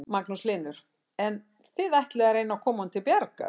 Magnús Hlynur: En þið ætlið að reyna að koma honum til bjargar?